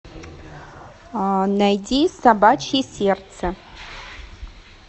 найти собачье сердце